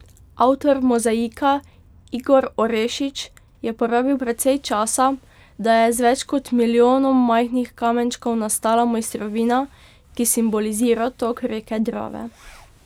Avtor mozaika Igor Orešič je porabil precej časa, da je z več kot milijonom majhnih kamenčkov nastala mojstrovina, ki simbolizira tok reke Drave.